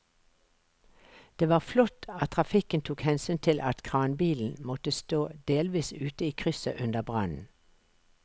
Det var flott at trafikken tok hensyn til at kranbilen måtte stå delvis ute i krysset under brannen.